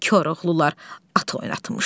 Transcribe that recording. Burda Koroğlular at oynatmışdı.